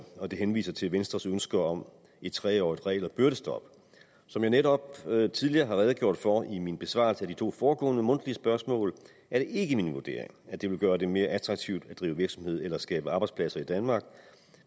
og det henviser til venstres ønske om et treårigt regel og byrdestop som jeg netop tidligere har redegjort for i min besvarelse af de to foregående mundtlige spørgsmål er det ikke min vurdering at det vil gøre det mere attraktivt at drive virksomhed eller skabe arbejdspladser i danmark